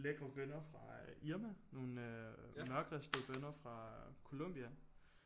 Lækre bønner fra Irma nogle mørkristede bønner fra Colombia